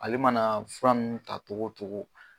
Ale mana fura ninnu ta cogo cogo